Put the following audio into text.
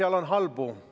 Kas nüüd kuulete?